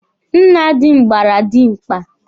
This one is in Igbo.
Nna dị m gbara dimkpa.